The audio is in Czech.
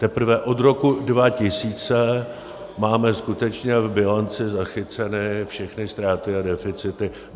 Teprve od roku 2000 máme skutečně v bilanci zachycené všechny ztráty a deficity.